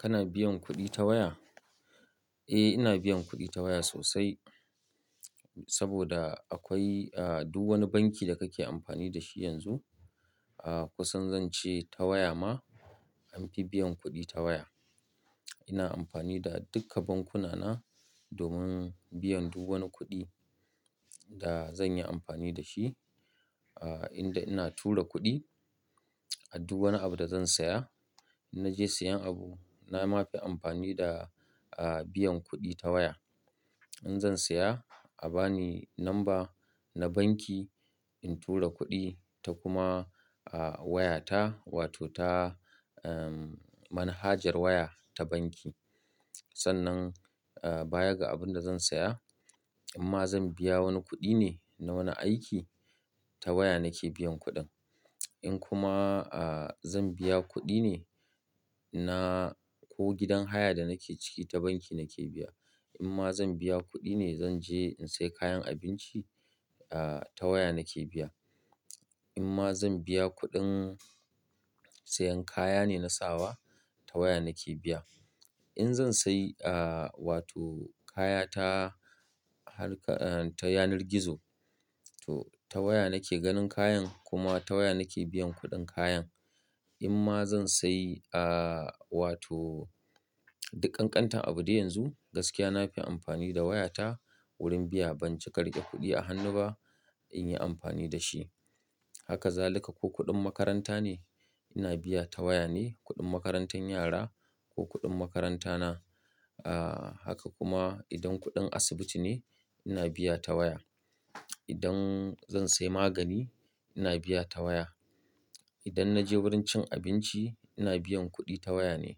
Kana biyan kuɗi ta waya? Eh, ina biyan kuɗi ta waya sosai saboda akwai, duk wani banki da kake amfani da shi yanzu, kusan zan ce ta waya ma an fi biyan kuɗi ta waya. Ina amfani da duka bankuna na domin biyan duk wani kuɗi da zan yi amfani da shi, inda ina tura kuɗi a duk wani abu da zan saya. In naje sayan abu na ma fi amfani da, biyan kuɗi ta waya. In zan saya a bani namba na banki in tura kuɗi ta kuma, waya ta wato ta, manhajar waya ta banki. Sannan, baya ga abun da zan saya, amma zan biya wani kuɗi ne na wani aiki ta waya nake biyan kuɗin. In kuma, zan biya kuɗi ne na ko gidan haya da nake ciki ta banki nake biya. In ma zan biya kuɗi ne zan je in sayi kayan abinci, ta waya nake biya. In ma zan biya kuɗin sayan kaya ne na sawa ta waya nake biya. In zan sayi, wato kaya ta harka, ta yanar gizo, to ta waya nake ganin kayan kuma ta waya nake biyan kuɗin kayan. In ma zan sayi, ah, wato duk kantar abu dai yanzu gaskiya na fi amfani da waya ta wurin biya. Ban cika riƙe kuɗi a hannu ba in yi amfani da shi. Haka zalika ko kuɗin makaranta ne ina biya ta waya ne, kuɗin makarantar yara ko kuɗin makaranta na. Ah, haka kuma idan kuɗin asibiti ne ina biya ta waya. Idan zan sayi magani ina biya ta waya. Idan na je wurin cin abinci ina biyan kuɗi ta waya ne.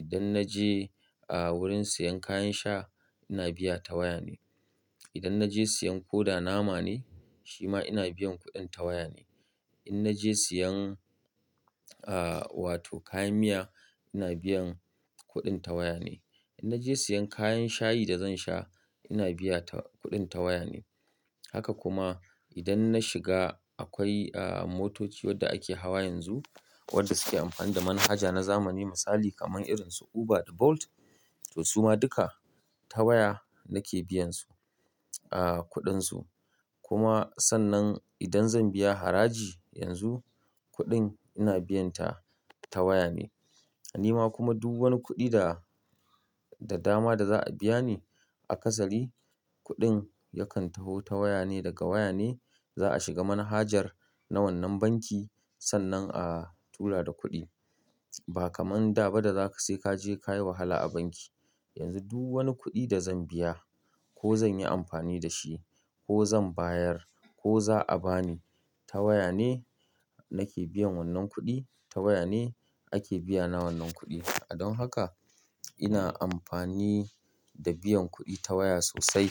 Idan na je, ah, wurin sayan kayan sha ina biya ta waya ne. Idan na je sayan koda nama ne shi ma ina biyan kuɗin ta waya ne. In naje sayan, wato kayan miya ina biyan kuɗin ta waya ne. In naje sayan kayan shayi da zan sha ina biya ta kuɗin ta waya ne. Haka kuma idan na shiga akwai, ah, motoci wadda ake hawa yanzu wadda suke amfani da manhaja na zamani misali kaman irin su Uber da Bolt, to su ma duka ta waya nake biyan su, kuɗin su. Kuma sannan idan zan biya haraji yanzu kuɗin ina biyan ta, ta waya ne. Ni ma kuma duk wani kuɗi da, da dama da za'a biya ni a kasari kuɗin yakan taho ta waya ne. Daga waya ne za'a shiga manhajar na wannan banki sannan a tura da kuɗi. Ba kamar da ba da za ka sai ka je ka yi wahala a banki. Yanzu duk wani kuɗi da zan biya ko zan yi amfani da shi ko zan bayar ko za'a ba ni ta waya ne nake biyan wannan kuɗi. Ta waya ne ake biya na wannan kuɗi. Don haka ina amfani da biyan kuɗi ta waya sosai.